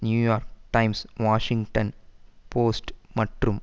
New York Times Washington Post மற்றும்